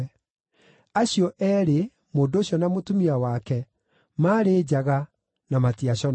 Acio eerĩ, mũndũ ũcio na mũtumia wake, maarĩ njaga, na matiaconokaga.